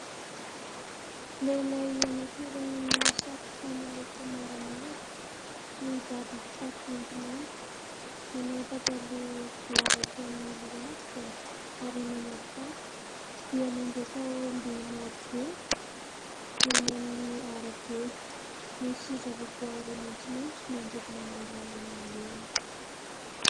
Lehilahy anankiray manao satroka miloko maramara, mibaby kitapo maintimainty, manao pataloha lava hatreo amin'ny lohalikany ary manao kapa dia mandroaka omby maro be ; eny amin'ny arabe. Misy zava-boaary maitsomaitso manodidina ny lalana alehany.